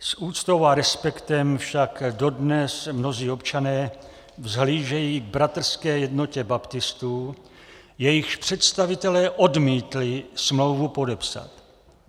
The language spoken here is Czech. S úctou a respektem však dodnes mnozí občané vzhlížejí k Bratrské jednotě baptistů, jejichž představitelé odmítli smlouvu podepsat.